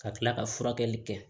Ka tila ka furakɛli kɛ